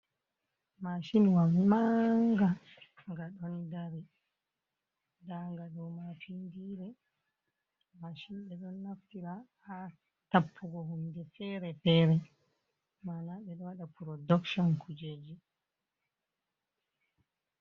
Maacinwa mannga nga ɗon dari ndaa nga ɗo maapindiire .Macin ɓe ɗon naftira haa tappugo, hunde fere fere ,mana ɓe waɗa purodakcon kujeji.